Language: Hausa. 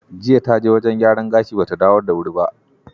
Jiya ta je wajen gyaran gashi ba ta dawo da wuri ba.